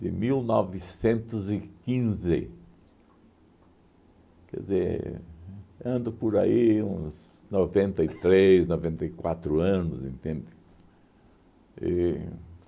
De mil novecentos e quinze, quer dizer, ando por aí uns noventa e três, noventa e quatro anos, entende? E